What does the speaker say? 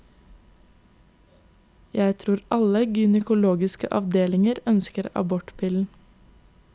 Jeg tror alle gynekologiske avdelinger ønsker abortpillen.